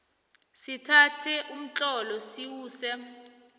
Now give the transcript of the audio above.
sithathe umtlolo siwuse